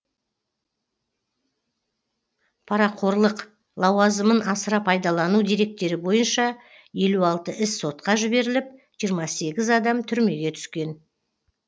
парақорлық лауазымын асыра пайдалану деректері бойынша елу алты іс сотқа жіберіліп жиырма сегіз адам түрмеге түскен